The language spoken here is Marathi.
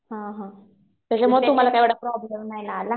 हा हा. त्याच्यामुळं तुम्हाला काय एवढा प्रॉब्लेम नाही ना आला.